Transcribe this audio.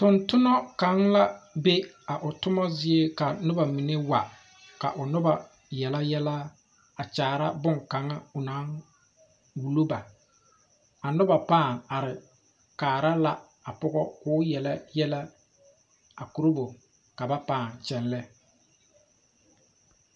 Tontonna kaŋ la be a o toma zie ka noba mine wa ka o noba yele yɛlɛ a kyaara boŋkaŋa o naŋ wulo ba a noba pãã are kaara la a pɔgɔ k'o yele yɛlɛ korobo ka ba pãã kyɛlɛ.